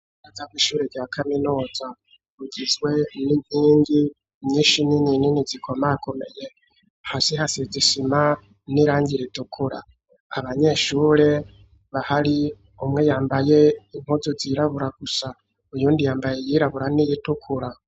Aza kwishure rya kaminuza bugizwe n'inkingi nyinshi nini inini zikoma akomeye hasi hase isima n'irangi ritukura. Abanyeshure bahari umwe yambaye inkuzu zirabura gusa iyindi yambaye yirabura n'iyitukura.